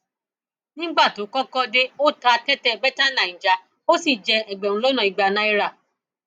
nígbà tó kọkọ dé ó ta tẹtẹ bẹtáníjà ó sì jẹ ẹgbẹrún lọnà ìgbà náírà